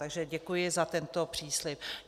Takže děkuji za tento příslib.